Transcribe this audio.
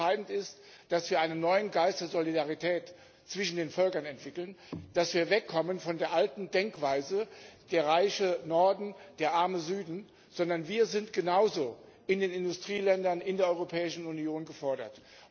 Ich glaube, entscheidend ist, dass wir einen neuen Geist der Solidarität zwischen den Völkern entwickeln, dass wir wegkommen von der alten Denkweise, der reiche Norden, der arme Süden, sondern wir in den Industrieländern, in der Europäischen Union sind genauso gefordert.